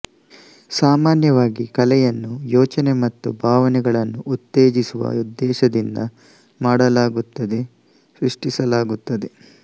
ಸಾಮಾನ್ಯವಾಗಿ ಕಲೆಯನ್ನು ಯೋಚನೆ ಮತ್ತು ಭಾವನೆಗಳನ್ನು ಉತ್ತೇಜಿಸುವ ಉದ್ದೇಶದಿಂದ ಮಾಡಲಾಗುತ್ತದೆ ಸೃಷ್ಟಿಸಲಾಗುತ್ತದೆ